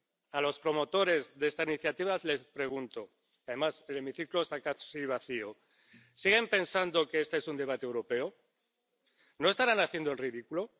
A los promotores de esta iniciativa les pregunto —además el hemiciclo está casi vacío— ¿Siguen pensando que este es un debate europeo? ¿No estarán haciendo el ridículo?